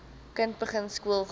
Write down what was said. kind begin skoolgaan